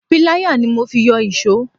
Pilaya ni mo fi yọ iso.